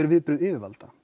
viðbrögð yfirvalda